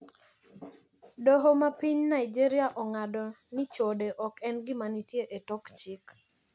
Doho mar piny Nigeria ong`ado ni chode ok en gima nitie e tok chik.